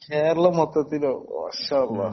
കേരളം മൊത്തത്തിലോ മാഷാ അല്ലാഹ്